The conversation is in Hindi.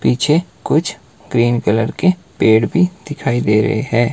पीछे कुछ ग्रीन कलर के पेड़ भी दिखाई दे रहे है।